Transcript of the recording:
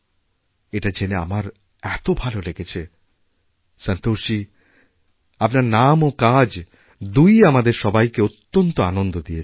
এটা জেনে আমার এতো ভালো লেগেছে সন্তোষজী আপনার নাম ও কাজ দুইইআমাদের সবাইকে অত্যন্ত আনন্দ দিয়েছে